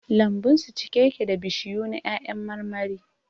Lambun su cike yake da bishiyu na 'ya'yan marmari